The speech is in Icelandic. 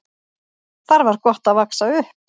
Þar var gott að vaxa upp.